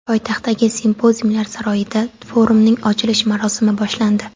Poytaxtdagi Simpoziumlar saroyida forumning ochilish marosimi boshlandi.